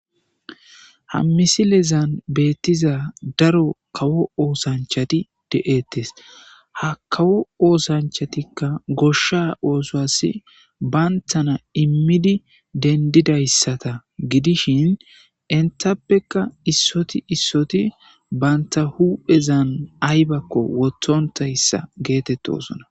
Ha misilezan beettiza daro kawo oosanchati de'ettes ha kawo oosanchatikka goshsha oosasi bayntana immidi dendidayssata gidishin intappeka issoti issoti banta huphezan aybakko wotthontayssa geetetto osona.